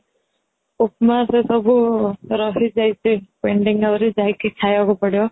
ଉପମା ସେ ସବୁ ରହି ଯାଇଛି pending ଆହୁରି ଖାଇବାକୁ ପଡି